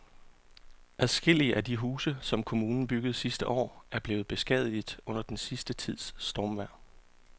Adskillige af de huse, som kommunen byggede sidste år, er blevet beskadiget under den sidste tids stormvejr.